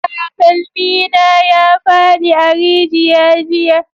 Takalmi na ya fadi a rijiya jiya